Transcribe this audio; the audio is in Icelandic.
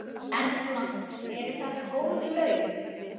Erla: Eru þetta góð laun?